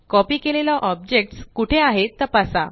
copy केलेला objects कुठे आहे तपासा